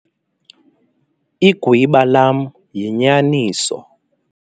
Igwiba lam yinyaniso.